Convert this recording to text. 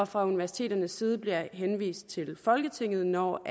fra universiteternes side bliver henvist til folketinget når